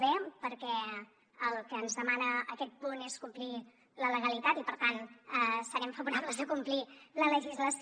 b perquè el que ens demana aquest punt és complir la legalitat i per tant serem favorables a complir la legislació